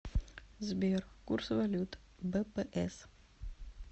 сбер курс валют бпс